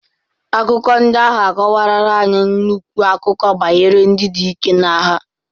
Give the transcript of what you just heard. Akụkọ ndị ahụ akọwarara anyị nnukwu akụkọ banyere ndị dike na agha.